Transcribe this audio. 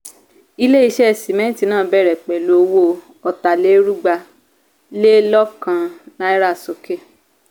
ile-iṣẹ́ sìmẹ́ntì náà bẹ̀rẹ̀ pẹ̀lú owó otalerugba lè lọ́kan náírà sókè.